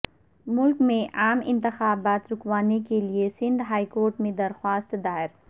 ملک میں عام انتخابات رکوانے کے لئے سندھ ہائیکورٹ میں درخواست دائر